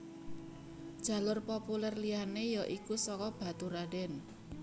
Jalur populer liyané ya iku saka Baturradèn